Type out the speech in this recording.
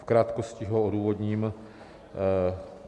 V krátkosti ho odůvodním.